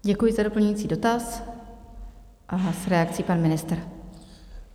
Děkuji za doplňující dotaz a s reakcí pan ministr.